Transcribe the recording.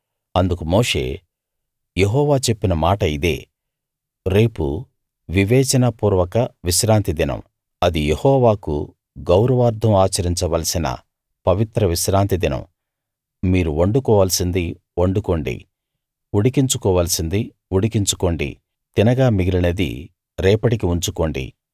అందుకు మోషే యెహోవా చెప్పిన మాట ఇదే రేపు వివేచనాపూర్వక విశ్రాంతి దినం అది యెహోవాకు గౌరవార్థం ఆచరించ వలసిన పవిత్ర విశ్రాంతి దినం మీరు వండుకోవలసింది వండుకోండి ఉడికించుకోవలసింది ఉడికించుకోండి తినగా మిగిలినది రేపటికి ఉంచుకోండి